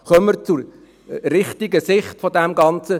Kommen wir zur richtigen Sicht des Ganzen.